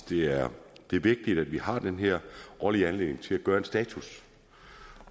det er vigtigt at vi har den her årlige anledning til at gøre status